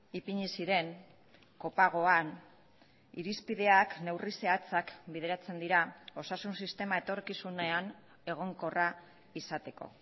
ipini ziren kopagoan irizpideak neurri zehatzak bideratzen dira osasun sistema etorkizunean egonkorra izateko